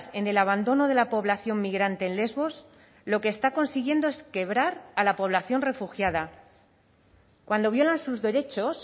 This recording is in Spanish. en el abandono de la población migrante en lesbos lo que está consiguiendo es quebrar a la población refugiada cuando violan sus derechos